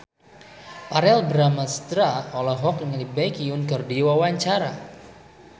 Verrell Bramastra olohok ningali Baekhyun keur diwawancara